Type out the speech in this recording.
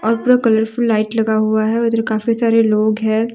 और पूरा colourful light लगा हुआ है और उधर काफी सारे लोग हैं।